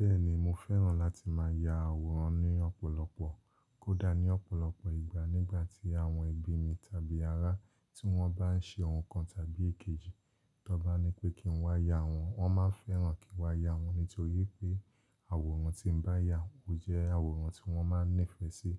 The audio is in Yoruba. Bẹ́ẹ̀ni mo fẹ́ràn láti máa ya àwòrán ní ọ̀pọ̀lọpọ̀, kódà ní ọ̀pọ̀lọpọ̀ ìgbà nígbà tí àwọn ẹbí mi tàbí ará tí wọ́n bá ń ṣe ohun kan tàbí èkejì tọ́n bá nipé kí n wá ya àwọn, wọ́n máa ń fẹ́ràn kí n wá ya wọ́n nítorí pé àwòrán tí n bá yà ó jẹ́ àwòrán tí wọ́n máa ń nífẹ̀ẹ́ sí.